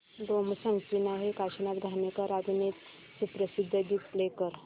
गोमू संगतीने हे काशीनाथ घाणेकर अभिनीत सुप्रसिद्ध गीत प्ले कर